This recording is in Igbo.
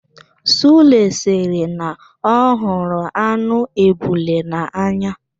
Sule sịrị na ọ hụrụ anụ ebule n'anya.